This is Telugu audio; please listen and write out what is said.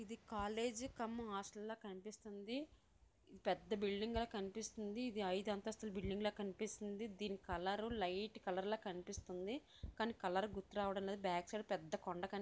ఇది కాలేజ్ కం హాస్టల్ లో కనిపిస్తుంది ఇది పెద్ద బిల్డింగ్ లో కనిపిస్తుంది ఇది అయిదు అంతస్తుల బిల్డింగ్లా కనిపిస్తుంది దీని కలరు లైట్ కలర్ లా కనిపిస్తుంది కానీ కలర్ గుర్తు రావడం లేదు బ్యాక్ సైడ్ పెద్ద కొండ కనిపిస్తుంది.